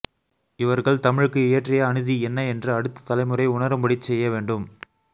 இவர்கள் தமிழுக்கு இயற்றிய அநீதி என்ன என்று அடுத்த தலைமுறை உணரும்படிச் செய்யவேண்டும்